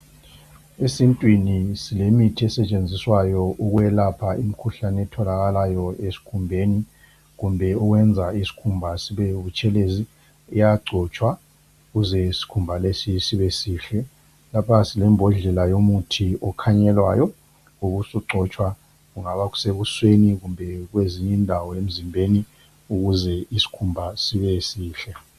Esintwini silemithi esetshenziswayo okuyelapha imikhuhlane etholakalayo ezikhumbeni kumbe ukwenza ulisikhumba sibe butshelezi iyangcotshwa ukuze isikhumba lesi sibe sihle lapha silembodlela yomuthi okhanyelwayo ube usungcotshwa kungaba sebusweni kumbe kwezinye indawo emzimbeni ukuze isikhumba sibe sihle